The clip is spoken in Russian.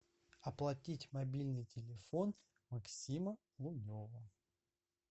оплатить мобильный телефон максима лунева